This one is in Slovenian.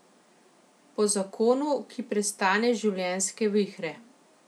Po zakonu, ki prestane življenjske vihre.